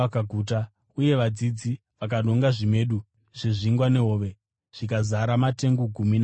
uye vadzidzi vakanonga zvimedu zvezvingwa nehove zvikazara matengu gumi namaviri.